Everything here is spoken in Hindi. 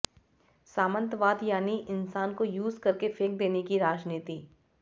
सामंतवाद यानि इंसान को यूज करके फेंक देने की राजनीति